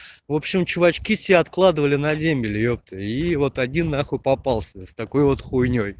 в общем чувачки себе откладывали на дембель ёпта и вот один на хуй попался с такой вот хуйнёй